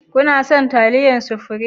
Kana son taliyar supirim?